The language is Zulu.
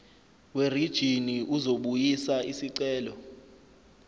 werijini uzobuyisa isicelo